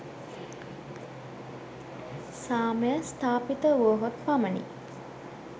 සාමය ස්ථාපිත වුවහොත් පමණි.